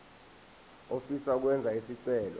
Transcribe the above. ofisa ukwenza isicelo